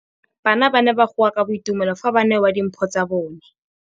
Bana ba ne ba goa ka boitumelo fa ba neelwa dimphô tsa bone.